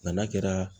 N'a kɛra